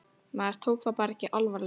Maður tók það bara ekki alvarlega.